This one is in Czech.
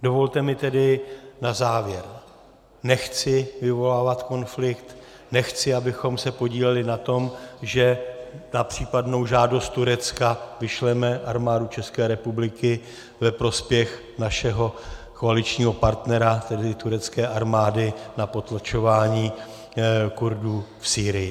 Dovolte mi tedy na závěr: Nechci vyvolávat konflikt, nechci, abychom se podíleli na tom, že na případnou žádost Turecka vyšleme Armádu České republiky ve prospěch našeho koaličního partnera, tedy turecké armády, na potlačování Kurdů v Sýrii.